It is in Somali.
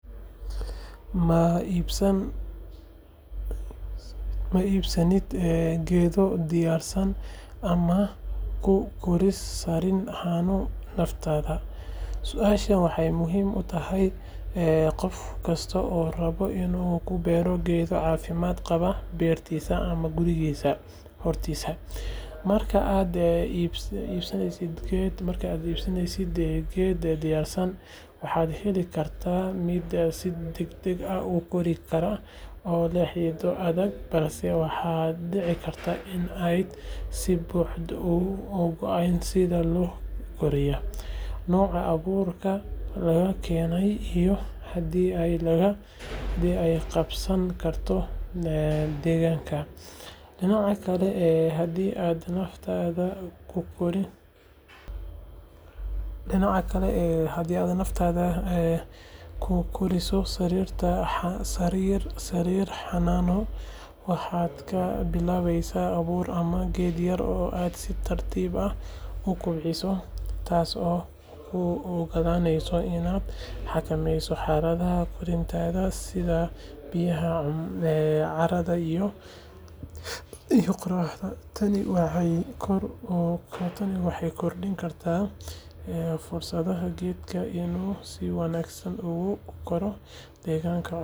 Ma iibsatid geedo diyaarsan ama ma ku korisaa sariir xanaano naftaada? Su’aashani waxay muhiim u tahay qof kasta oo raba inuu ku beero geedo caafimaad qaba beertiisa ama gurigiisa hortiisa. Marka aad iibsatid geedo diyaarsan, waad heli kartaa mid si degdeg ah u kori kara oo leh xididdo adag, balse waxaa dhici karta in aanad si buuxda u ogayn sida loo koriyay, nooca abuurka laga keenay, iyo haddii ay la qabsan karto deegaankaaga. Dhinaca kale, haddii aad naftaada ku koriso sariir xanaano, waxaad ka bilaabaysaa abuur ama geed yar oo aad si tartiib ah u kobcinayso, taas oo kuu ogolaanaysa inaad xakameyso xaaladaha koritaanka sida biyaha, carrada, iyo qoraxda. Tani waxay kordhin kartaa fursadda geedka inuu si wanaagsan ugu koro deegaanka cusub. Inaad naftaada ku koriso waxay kaloo kaa dhigaysaa qof si fiican u fahma dabeecadda geedka. Haddaba, doorashadu waxay ku xiran tahay wakhtigaaga, kartidaada, iyo waxa aad doonayso inaad ka gaarto.